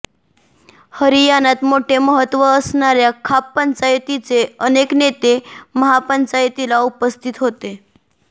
हरियाणात मोठे महत्व असणाऱ्या खाप पंचायतींचे अनेक नेते महापंचायतीला उपस्थित होते